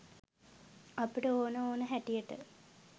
අපිට ඕන ඕන හැටියට